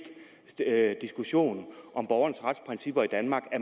diskussion om borgernes retsprincipper i danmark at